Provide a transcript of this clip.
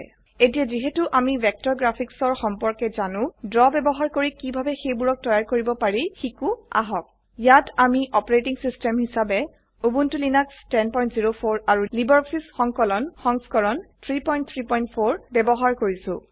এতিয়া যিহেতু আমি ভেক্টৰ গ্ৰাফিক্চৰ সম্পৰ্কে জানো ড্ৰ ব্যবহাৰ কৰি কিভাবে সেইবোৰক তৈয়াৰ কৰিব পাৰে শিকো আহক ইয়াত আমি অপাৰেটিং সিস্টেম হিসাবে উবুন্টু লিনাক্স ১০০৪ আৰু লাইব্ৰঅফিছ সংকলন সংস্কৰণ ৩৩৪ ব্যবহাৰ কৰিছো